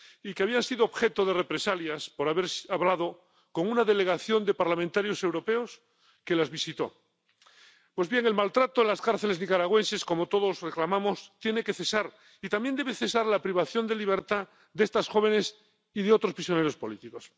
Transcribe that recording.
y que habían sido objeto de represalias por haber hablado con una delegación de parlamentarios europeos que las visitó. Pues bien, el maltrato en las cárceles nicaragüenses tiene que cesar —como todos reclamamos— y también debe cesar la privación de libertad de estas jóvenes y de otros prisioneros políticos.